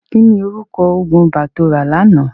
Kí ni orúkọ òògùn ibà tó rà lánàá.?